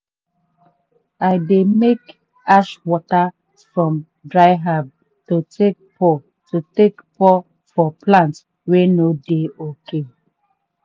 i dey make ash water from dry herb to take pour to take pour for plant wey no dey ok.